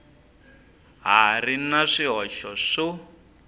ha ri na swihoxo swo